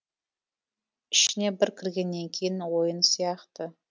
ішіне бір кіргеннен кейін ойын сияқты